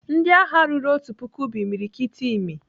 Ndịagha ruru otu puku bụ imiriikiti imi.